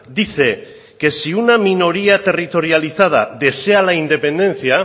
dice que si una minoría territorializada desea la independencia